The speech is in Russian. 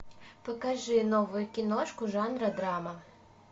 покажи новую киношку жанра драма